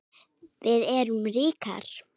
Við erum ríkar